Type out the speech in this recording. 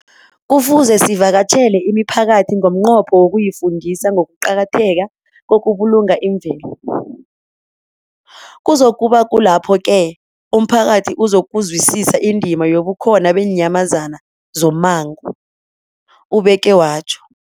Kufuze sivakatjhele imiphakathi ngomnqopho wokuyifundisa ngokuqakatheka kokubulunga imvelo. Kuzoku ba kulapho-ke umphakathi uzokuzwisisa indima yobukhona beenyamazana zommango, ubeke watjho.